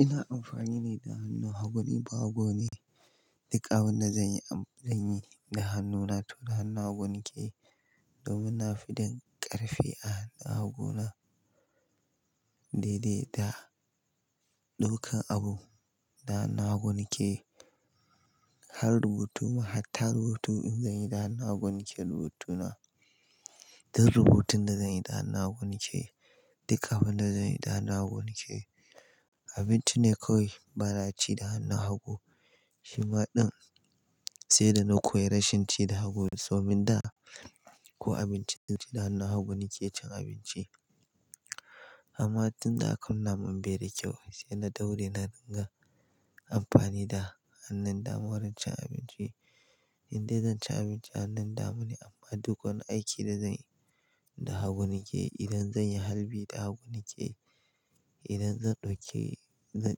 Ina amfani ne da hannu hagu ne, ni bahago ne. Duk abun da zanyi da hannuna, to da hannu hagu nake. Domin na fi jin ƙarfi a hannu haguna. Daidai da ɗaukan abu, da hannu hagu nake. Har rubutu ma, hatta rubutu in zanyi da hannu hagu nake rubutuna. Duk rubutun da zan yi da hannu hagu nake. Duk abun da zanyi da hannu hagu nake. Abinci ne kawai bana ci da hannu hagu. Shima din sai da na koyi rashin ci da hagu. Tomin da ko abincin ci da hannu hagu nake cin abinci. Amma tun da aka nuna mun bai da kyau sai na daure na dinga amfani da hannun dama wurin cin abinci. Indai zan ci abinci hannun dama ne amma dukan aiki da zanyi da hagu nake. Idan zan yi harbi da hagu nake, idan zan ɗauke, zan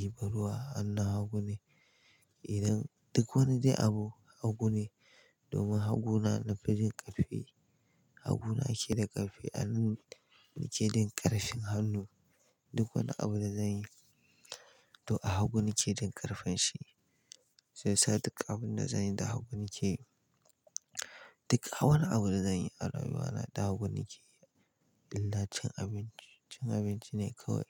ɗiba ruwa, hannu hagu ne. Idan-- duk wani dai abu hagu ne. Domin hagu na, na fi jin ƙarfi. Hagu na ke da ƙarfi a hannun nake da ƙarfin hannu. Duk wani abu da zan yi to a hagu nake da ƙarfin shi. Sai sa duk abun da zan yi da hagu nake. Duk wani abu da zanyi a rayuwa na da hagu nake yi. Illa cin abinci, cin abinci ne kawai.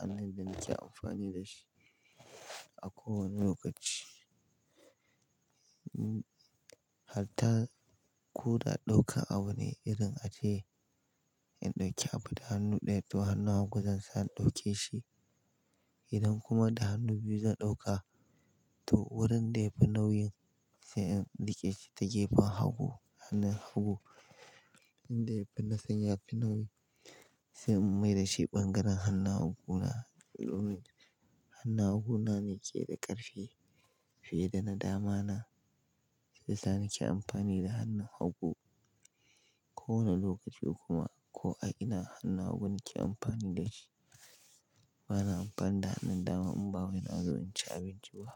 Hannun da nake amfani da shi a kowane lokaci. Harta ko da ɗaukan abu ne irin ace in ɗauki abu da hannu ɗaya to hannu hagu zan sa in ɗauke shi. Idan kuma da hannu biyu zan ɗauka to wurin da yafi nauyin sai in riƙe shi ta gefen hagu, hannun hagu. Inda yafi nasara yafi nauyi sai in mai da shi ɓangaren hannu haguna. Don me? Hannu haguna nake da ƙarfi fiye da na damana. Sai sa nake amfani da hannu hagu kowane lokaci kuma ko a ina hannu hagu nake amfani da shi. Bana amfani da hannun dama in babu ina zuwa cin abinci ba.